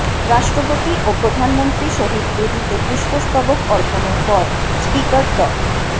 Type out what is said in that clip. রাষ্ট্রপতি ও প্রধানমন্ত্রী শহীদ বেদিতে পুষ্পস্তবক অর্পণের পর স্পিকার ড